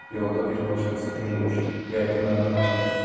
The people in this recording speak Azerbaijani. Yolda bir başqası görünmüşdü, yəqin məndən ona qaçdı.